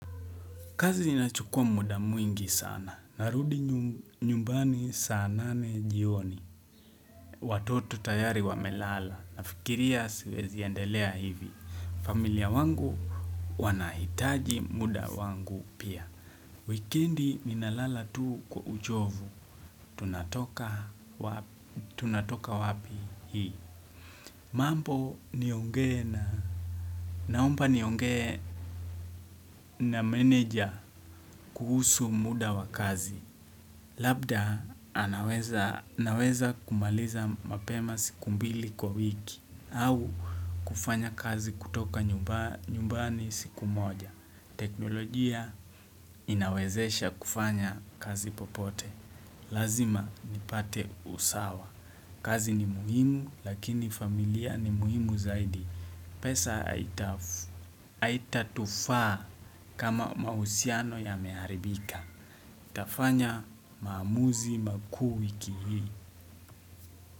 Kazi inachukua muda mwingi sana. Narudi nyumbani saa nane jioni. Watoto tayari wamelala. Nafikiria siwezi endelea hivi. Familia wangu wanahitaji muda wangu pia. Weekend ninalala tu kwa uchovu. Tunatoka wapi hii. Mambo niongee naomba niongee na meneja kuhusu muda wa kazi. Labda naweza kumaliza mapema siku mbili kwa wiki. Au kufanya kazi kutoka nyumbani siku moja. Teknolojia inawezesha kufanya kazi popote. Lazima nipate usawa. Kazi ni muhimu lakini familia ni muhimu zaidi. Pesa. Haitatufaa kama mahusiano ya meharibika. Nitafanya maamuzi makuu wiki hii.